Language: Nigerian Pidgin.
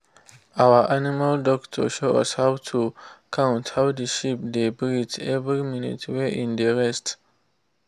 our animal doctor show us how to count how the sheep dey breathe every minute wen e dey rest